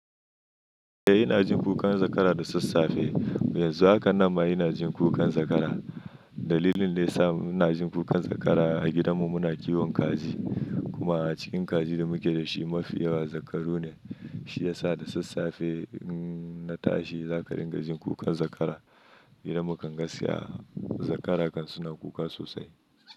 Eh ina jin kukan zakara da sassafe. Yanzu haka ina ma ina jin kukan zakara. Dalilin da ya sa muna jin kukan zakara a gidanmu muna kiwon kaji kuma a cikin kajin da muke da shi mafi yawa zakaru ne. Shi ya sa da sassafe in na tashi zaka ringa jin kukan zakara. Gidan mu kan gaskiya zakara kan suna kuka sosai.